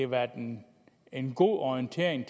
været en en god orientering